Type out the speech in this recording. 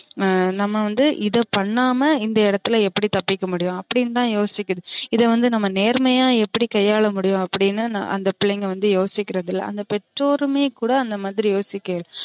நம்ம வந்து இத பண்ணாம இந்த இடத்துல எப்டி தப்பிக்க முடியும் அப்டினு தான் யோசிக்குது இத வந்து நம்ம நேர்மையா எப்டி கையால முடியும் அப்டினு அந்த பிள்ளைங்க வந்து யோசிக்குறது இல்ல அந்த பெற்றோருமே கூட அந்த மாரி யோசிக்குறது இல்ல